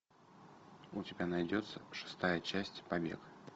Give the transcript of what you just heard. у тебя найдется шестая часть побег